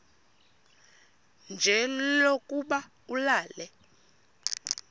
nje lokuba ulale